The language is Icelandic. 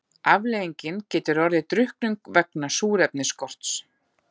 Afleiðingin getur orðið drukknum vegna súrefnisskorts.